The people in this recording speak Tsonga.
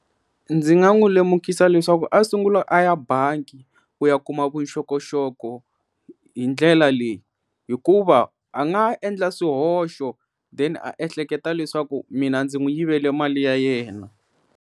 Ndzi nga n'wi lemukisa leswaku a sunguli a ya bangi ku ya kuma vuxokoxoko hi ndlela leyi hikuva a nga endla swihoxo then a ehleketa leswaku mina ndzi n'wi yivele mali ya yena.